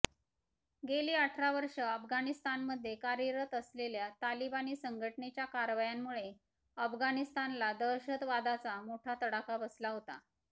गेली अठरा वर्षे अफगाणिस्तानमध्ये कार्यरत असलेल्या तालिबानी संघटनेच्या कारवायांमुळे अफगाणिस्तानला दहशतवादाचा मोठा तडाखा बसला होता